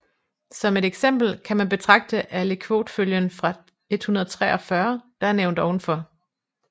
Som et eksempel kan man betragte alikvotfølgen fra 143 der er nævnt ovenfor